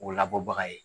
O labɔbaga ye